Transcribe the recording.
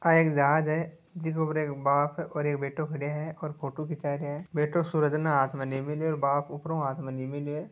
आ एक जहाज है जिस पे एक बाप और बेटो खड़ो है फोटो खीचा रहा है सूरज में हाथ है बाप उपरो हाथ है।